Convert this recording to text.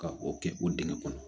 Ka o kɛ o dingɛ kɔnɔ